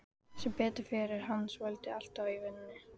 Sem betur fer er hann svotil alltaf í vinnunni.